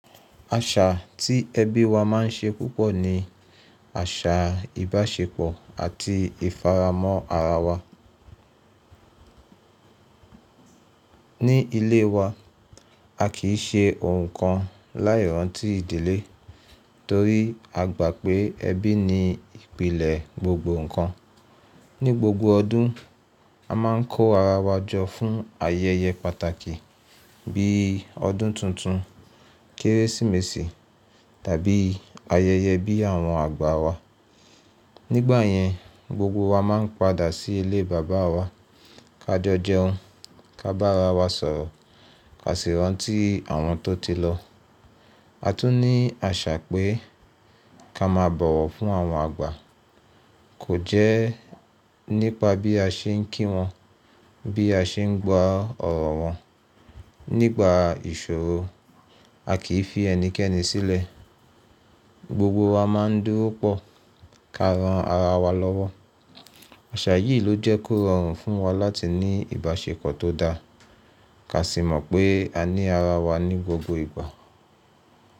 Àṣà tí ẹbí wa má ń ṣe púpọ̀ ni àṣà ìbáṣepọ̀ àti ìfaramọ́ ara wa. Ní ilé wa, a kì í ṣe ohun kan láì rántí ìdílé torí a gbà pé ẹbí ni ìpìlẹ̀ gbogbo nkan. Ní gbogbo ọdún, a má ń kó ara wa jọ fún ayẹyẹ pàtàkì bí ọdún tuntun, Kérésìmesì tàbí ayẹyẹ bí àwọn àgbà wa. Nígbà yẹn, gbogbo wa má ń padà sí ilé bàbá wa ká jo jẹun, ká bá ara wa sọ̀rọ̀, ká sì rántí àwọn tó ti lọ. A tún ní àṣà pé ká máa bọ̀wọ̀ fún àwọn àgbà. Kò jẹ́ nípa bí a ṣe ń kí wọn, bí a ṣe ń gba ọ̀rọ̀ wọn. Nígbà ìṣòro, a kì í fi ẹnikẹ́ni sílẹ̀. Gbogbo wa má ń dúró pọ̀ ká ran ara wa lọ́wọ́. Àṣà yìí ló jẹ́ kó rọrùn fún wa láti ní ìbáṣepọ̀ tó dáa. Ká sì mọ̀ pé a ní ara wa ní gbogbo ìgbà.